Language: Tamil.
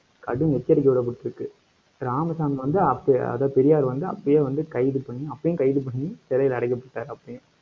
கடும் எச்சரிக்கை விடப்பட்டிருக்கு. ராமசாமி வந்து, அப்ப அதாவது பெரியார் வந்து, அப்பயே வந்து கைது பண்ணி அப்பயே கைது பண்ணி சிறையில அடைக்கப்பட்டாரு, அப்பயே